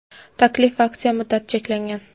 Taklif va aksiya muddati cheklangan.